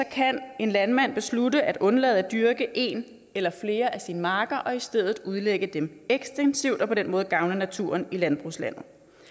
kan en landmand beslutte at undlade at dyrke en eller flere af sine marker og i stedet udlægge dem ekstensivt og på den måde gavne naturen i landbrugslandet